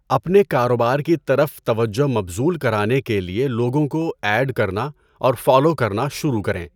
اپنے کاروبار کی طرف توجہ مبذول کرانے کے لیے لوگوں کو 'ایڈ' کرنا اور 'فالو' کرنا شروع کریں۔